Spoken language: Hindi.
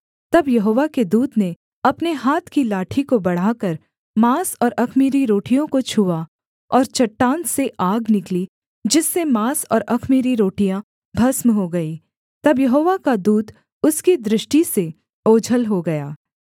तब यहोवा के दूत ने अपने हाथ की लाठी को बढ़ाकर माँस और अख़मीरी रोटियों को छुआ और चट्टान से आग निकली जिससे माँस और अख़मीरी रोटियाँ भस्म हो गईं तब यहोवा का दूत उसकी दृष्टि से ओझल हो गया